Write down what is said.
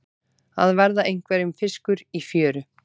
Að verða einhverjum fiskur í fjöru